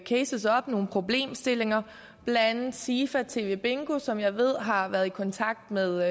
cases op nogle problemstillinger blandt andet sifa tv bingo som jeg ved har været i kontakt med